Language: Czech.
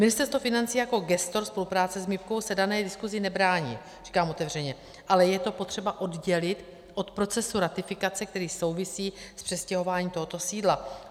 Ministerstvo financí jako gestor spolupráce s MIB se dané diskuzi nebrání, říkám otevřeně, ale je to potřeba oddělit od procesu ratifikace, který souvisí s přestěhováním tohoto sídla.